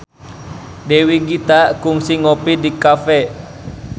Dewi Gita kungsi ngopi di cafe